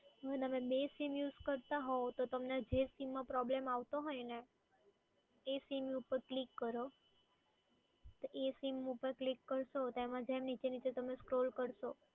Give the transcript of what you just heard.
જો તમે બે sim use નો કરતાં હો તો કે જેમાં તમને problem આવતો હોય ને એ sim ઉપર click કરો જ્યારે તમે sim ઉપર તમે click કરશો અને નીચે નીચે scroll કરશો